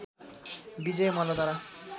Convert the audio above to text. विजय मल्लद्वारा